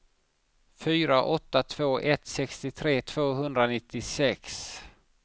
fyra åtta två ett sextiotre tvåhundranittiosex